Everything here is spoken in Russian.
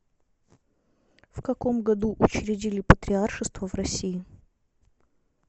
в каком году учредили патриаршество в россии